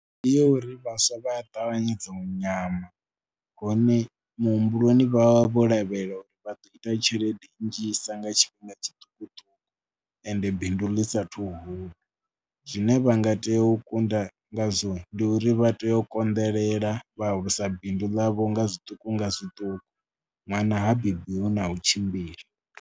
Ndi ya uri vhaswa vha a ṱavhanyedza u nyama hone muhumbuloni vha vha vho lavhelela uri vha ḓo ita tshelede nnzhisa nga tshifhinga tshiṱukuṱuku ende bindu ḽi saathu hula. Zwine vha nga tea u kunda ngazwo ndi uri vha tea u konḓelela vha alusa bindu ḽavho nga zwiṱuku nga zwiṱuku. Ṅwana ha bebiwi na u tshimbila.